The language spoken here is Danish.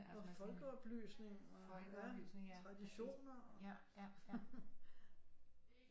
Og folkeoplysning og ja traditioner